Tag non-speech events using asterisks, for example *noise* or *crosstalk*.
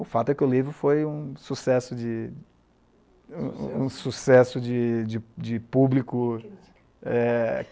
O fato é que o livro foi um sucesso de um sucesso de de público. *unintelligible* É...